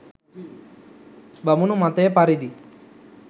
බමුණු මතය පරිදි